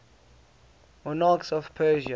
monarchs of persia